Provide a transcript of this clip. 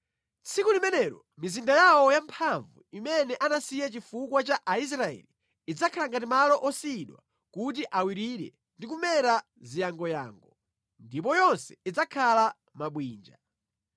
Tsiku limenelo mizinda yawo yamphamvu, imene anasiya chifukwa cha Aisraeli, idzakhala ngati malo osiyidwa kuti awirire ndi kumera ziyangoyango. Ndipo yonse idzakhala mabwinja.